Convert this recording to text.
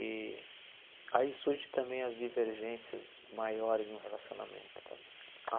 E aí surgem também as divergências maiores num relacionamento também.